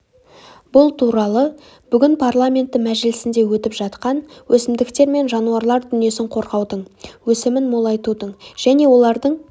бұл туралы бүгін парламенті мәжілісінде өтіп жатқан өсімдіктер мен жануарлар дүниесін қорғаудың өсімін молайтудың және олардың